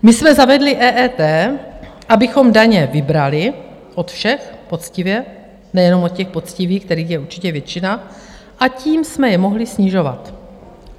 My jsme zavedli EET, abychom daně vybrali od všech, poctivě, nejenom od těch poctivých, kterých je určitě většina, a tím jsme je mohli snižovat.